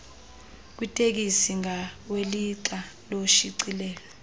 kwitekisi ngawelixa loshicilelo